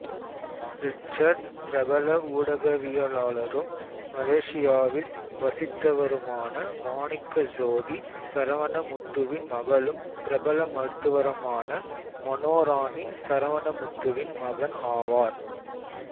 Richard பிரபல ஊடகவியலாளரும் மலேசியாவில் வசித்தவருமான மாணிக்கசோதி சரவணமுத்துவின் மகளும் பிரபல மருத்துவருமான மனோராணி சரவணமுத்துவின் மகன் ஆவார்